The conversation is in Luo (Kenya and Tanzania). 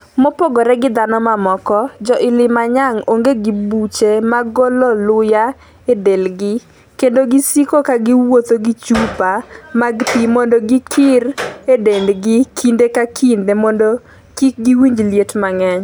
Mopogore gi dhano mamoko, jo 'Ilimanyang onge gi buche mag golo luya e delgi, kendo gisiko ka giwuotho gi chupa mag pi mondo gikir e dendgi kinde ka kinde mondo kik giwinj liet mang'eny